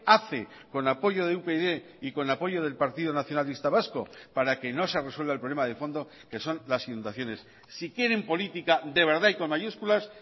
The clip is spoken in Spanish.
hace con apoyo de upyd y con apoyo del partido nacionalista vasco para que no se resuelva el problema de fondo que son las inundaciones si quieren política de verdad y con mayúsculas